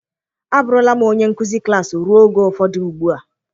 Abụrụla m onye nkuzi klas ruo oge ụfọdụ ugbu a.